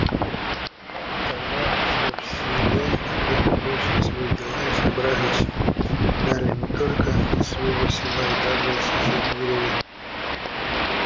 тогда всё в селе на время бросили свои дела и собрались и далее не только из своего села а даже из соседних деревень